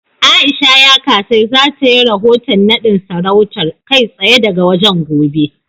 A'isha Yakasai za ta yi rahoton naɗin sarautar, kai tsaye daga wajen, gobe.